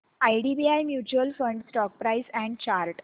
IDBI mutual fund stock price and chart